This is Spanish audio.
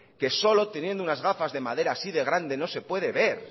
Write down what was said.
que solo teniendo unas gafas de madera así de grandes no se puede ver